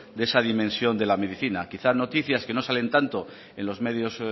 de esa dimensión de la medicina quizás noticias que no salen tanto en los medios